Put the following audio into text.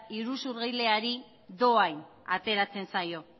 iruzurgileari dohain ateratzen zaio